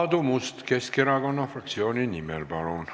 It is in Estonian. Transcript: Aadu Must Keskerakonna fraktsiooni nimel, palun!